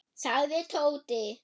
sagði Tóti.